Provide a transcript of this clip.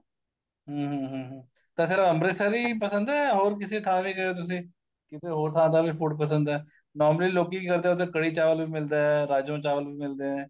ਹਮ ਹਮ ਹਮ ਤਾਂ ਫੇਰ ਅੰਮ੍ਰਿਤਸਰੀ ਪਸੰਦ ਏ ਹੋਰ ਕਿਸੇ ਥਾਂ ਦਾ ਤੁਸੀਂ ਕਿਸੇ ਹੋਰ ਥਾਂ ਦਾ ਵੀ food ਪਸੰਦ ਏ normally ਲੋਕੀ ਕੀ ਕਰਦੇ ਏ ਉੱਥੇ ਕੜੀ ਚਾਵਲ ਵੀ ਮਿਲਦਾ ਰਾਜਮਾ ਚਾਵਲ ਵੀ ਮਿਲਦੇ ਏ